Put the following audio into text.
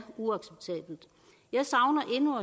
uacceptabelt jeg savner endnu